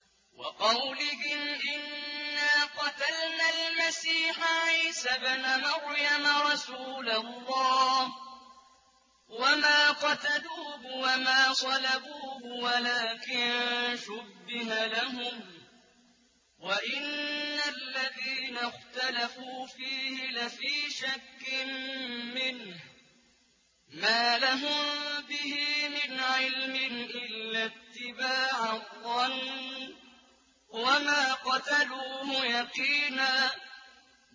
وَقَوْلِهِمْ إِنَّا قَتَلْنَا الْمَسِيحَ عِيسَى ابْنَ مَرْيَمَ رَسُولَ اللَّهِ وَمَا قَتَلُوهُ وَمَا صَلَبُوهُ وَلَٰكِن شُبِّهَ لَهُمْ ۚ وَإِنَّ الَّذِينَ اخْتَلَفُوا فِيهِ لَفِي شَكٍّ مِّنْهُ ۚ مَا لَهُم بِهِ مِنْ عِلْمٍ إِلَّا اتِّبَاعَ الظَّنِّ ۚ وَمَا قَتَلُوهُ يَقِينًا